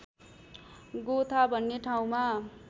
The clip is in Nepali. गोथा भन्ने ठाउँमा